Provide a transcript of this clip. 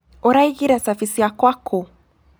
ũraigire cabi ciakwa kũũ?